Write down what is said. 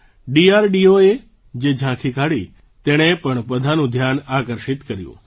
DRDOએ જે ઝાંકી કાઢી તેણે પણ બધાનું ધ્યાન આકર્ષિત કર્યું